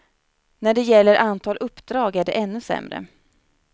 När det gäller antal uppdrag är det ännu sämre.